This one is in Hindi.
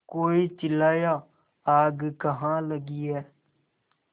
कोई चिल्लाया आग कहाँ लगी है